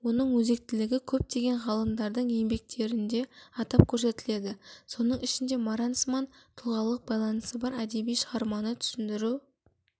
оның өзектілігі көптеген ғалымдардың еңбектерінде атап көрсетіледі соның ішінде маранцман тұлғалық байланысы бар әдеби шығарманы түсіндіру